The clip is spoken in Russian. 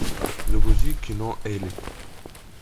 загрузи кино элли